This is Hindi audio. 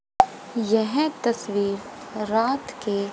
यह तस्वीर रात के --